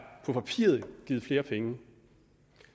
givet flere penge